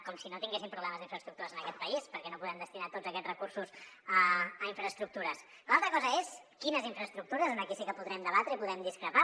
com si no tinguéssim problemes d’infraestructures en aquest país per què no podem destinar tots aquests recursos a infraestructures l’altra cosa és quines infraestructures aquí sí que podrem debatre i podrem discrepar